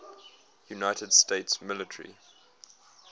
united states military